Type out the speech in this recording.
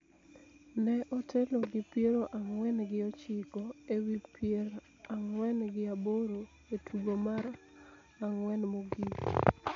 ne otelo gi piero ang'wen gi ochiko ewi pierp ang'wen gi aboro e tugo mar ang�wen mogik.